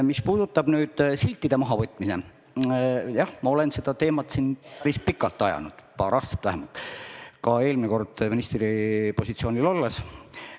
Mis puudutab siltide mahavõtmist, siis ma olen seda teemat siin ajanud päris pikalt, vähemalt paar aastat, ka eelmine kord ministripositsioonil olles.